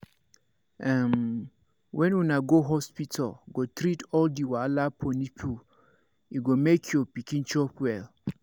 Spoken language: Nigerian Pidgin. um when una go hospital go treat all the wahala for nipple e go make your pikin chop well